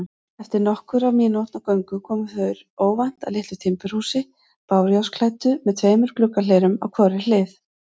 Eftir nokkurra mínútna göngu komu þeir óvænt að litlu timburhúsi, bárujárnsklæddu með tveimur gluggahlerum á hvorri hlið.